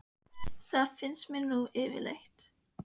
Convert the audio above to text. Það finnst mér nú yfirleitt líka.